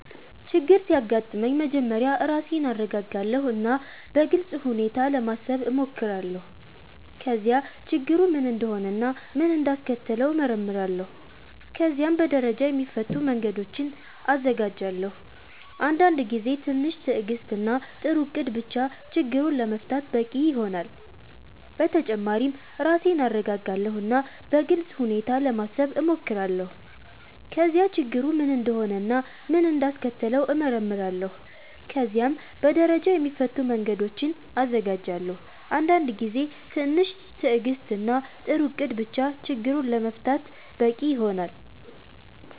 ችግር ሲያጋጥመኝ መጀመሪያ ራሴን እረጋጋለሁ እና በግልጽ ሁኔታ ለማሰብ እሞክራለሁ። ከዚያ ችግሩ ምን እንደሆነ እና ምን እንዳስከተለው እመረምራለሁ። ከዚያም በደረጃ የሚፈቱ መንገዶችን እዘጋጃለሁ። አንዳንድ ጊዜ ትንሽ ትዕግስት እና ጥሩ እቅድ ብቻ ችግሩን ለመፍታት በቂ ይሆናል። በተጨማሪ ራሴን እረጋጋለሁ እና በግልጽ ሁኔታ ለማሰብ እሞክራለሁ። ከዚያ ችግሩ ምን እንደሆነ እና ምን እንዳስከተለው እመረምራለሁ። ከዚያም በደረጃ የሚፈቱ መንገዶችን እዘጋጃለሁ። አንዳንድ ጊዜ ትንሽ ትዕግስት እና ጥሩ እቅድ ብቻ ችግሩን ለመፍታት በቂ ይሆናል።